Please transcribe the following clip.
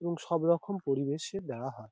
এবং সব রকম পরিবেশে বেড়া হয়।